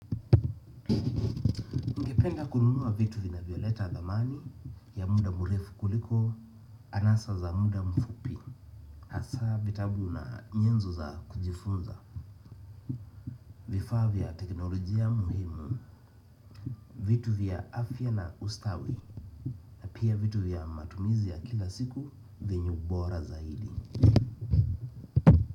Ningependa kununua vitu vinavyoleta thamani ya muda mrefu kuliko anasa za muda mfupi hasa vitabu na nyenzo za kujifunza vifaa vya teknolojia muhimu vitu vya afya na ustawi na pia vitu vya matumizi ya kila siku vyenye ubora zaidi.